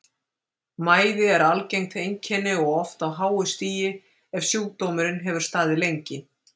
Mæði er algengt einkenni og oft á háu stigi ef sjúkdómurinn hefur staðið lengi.